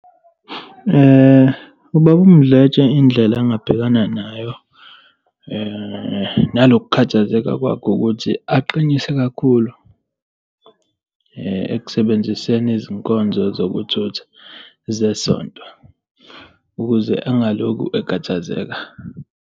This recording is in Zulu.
Ubaba Mdletshe indlela engabhekana nayo, nalo kukhathazeka kwakhe ukuthi aqinise kakhulu ekusebenziseni izinkonzo zokuthutha zesonto, ukuze angalokhu ekhathazeka.